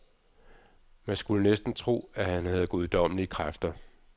Man skulle næsten tro, at han havde guddommmelige kræfter.